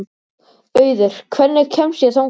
Auður, hvernig kemst ég þangað?